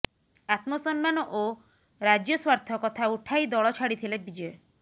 ଆତ୍ମସମ୍ମାନ ଓ ରାଜ୍ୟସ୍ୱାର୍ଥ କଥା ଉଠାଇ ଦଳ ଛାଡ଼ିଥିଲେ ବିଜୟ